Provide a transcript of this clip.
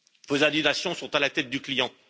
Vos indignations sont à la tête du client.